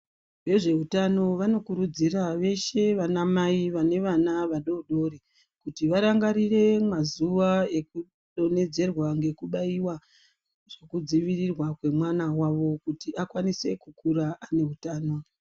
Vezveutano vanokurudzira veshe vana mai vane vana vadodori, kuti varangarire mazuwa ekudonhedzerwa ngekubayiwa ngekudziyirirwa kwemwana wavo kuti akwanise kukura aneutano.